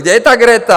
Kde je ta Greta?